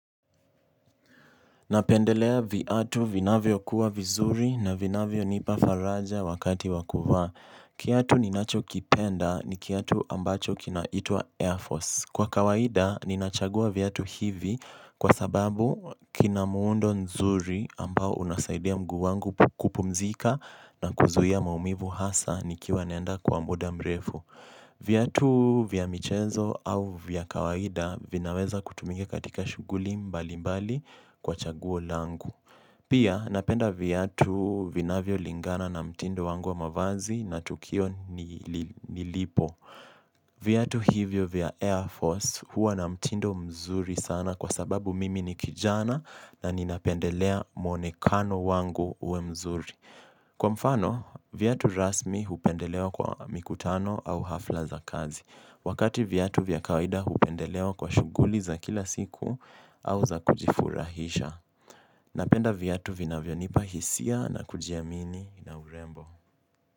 Napendelea viatu vinavyo kuwa vizuri na vinavyo nipafaraja wakati wakuvaa. Kiatu ninacho kipenda ni kiatu ambacho kinaitwa Air Force. Kwa kawaida ninachagua viatu hivi kwa sababu kina muundo nzuri ambao unasaidia mguu wangu kupumzika na kuzuia maumivu hasa nikiwa naenda kwa muda mrefu. Viatu vya michezo au vya kawaida vinaweza kutumika katika shughuli mbali mbali kwa chaguo langu. Pia napenda viatu vinavyo lingana na mtindo wangu wa mavazi na tukio nilipo. Vyatu hivyo vya Air Force huwa na mtindo mzuri sana kwa sababu mimi ni kijana na ninapendelea mwonekano wangu uwe mzuri. Kwa mfano, viatu rasmi hupendelewa kwa mikutano au hafla za kazi. Wakati viatu vya kawaida hupendelewa kwa shughuli za kila siku au za kujifurahisha. Napenda viatu vinavyo nipa hisia na kujiamini na urembo.